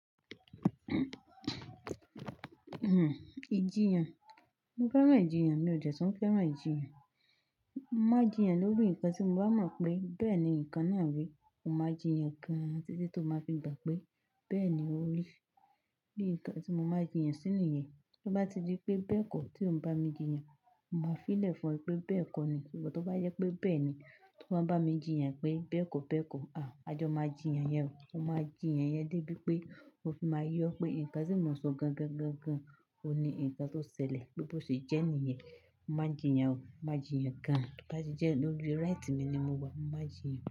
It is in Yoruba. Ìjiyàn. Mo fẹ́ràn ìjiyàn, mi ò dẹ̀ tun fẹ́ràn ìjiyàn. Má jiyàn lórí nǹkan tí mo bá mọ̀ pé bẹ́ẹ̀ ni nǹkan náà rí, mo máa jiyàn gan títí tó máa fi gbà pé bẹ́ẹ̀ ni ó rí. Bí nǹkan tí mo máa jiyàn sínú ìyẹn, ti mo bá ti ri pé bẹ́ẹ̀ kọ́ tí òun bá mi jiyàn, mo máa fí ìlẹ̀ fún ẹ pé bẹ́ẹ̀ kọ́ ni. Ṣùgbọ́n tó bá jẹ pé bẹ́ẹ̀ ni, tó bá bá mi jiyàn pé bẹ́ẹ̀ kọ́, bẹ́ẹ̀ kọ́, àjọ̀ máa jiyàn yẹn o, a máa jiyàn yẹn dé bí pé ó fi máa yọ pé nǹkan tí mo sọ gan-gan-gan-gan òní nǹkan tó ṣẹlẹ̀. Bí ó ṣe jẹ́ nìyẹn, má jiyàn o, má jiyàn gan-an. To ba ti jẹ́ lórí right mi ni mo wà, má jiyàn.